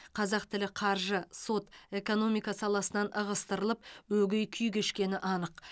қазақ тілі қаржы сот экономика саласынан ығыстырылып өгей күй кешкені анық